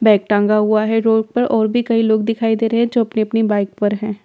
Bag टांगा हुआ है रोड पर और भी कई लोग दिखाई दे रहे हैं जो अपनी अपनी बाइक पर हैं।